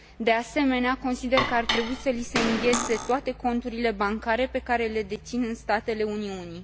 De asemenea, consider că ar trebui să li se înghețe toate conturile bancare pe care le dețin în statele Uniunii.